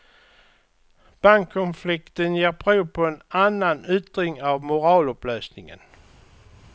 Bankkonflikten ger prov på en annan yttring av moralupplösningen.